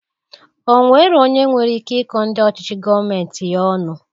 Onwero onye nwere ike ikọ ndị ọchịchị gọọmenti ya ọnu.